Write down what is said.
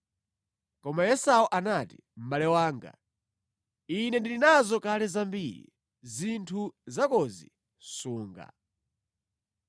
Koma Esau anati, “Mʼbale wanga, ine ndili nazo kale zambiri. Zinthu zakozi sunga.”